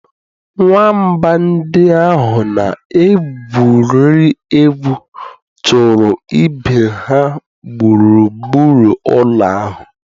Nwamba ndị ahụ na-egwuri egwu chụrụ ibe ha gburugburu ụlọ ahụ.